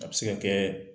A bɛ se ka kɛ